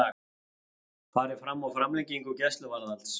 Farið fram á framlengingu gæsluvarðhalds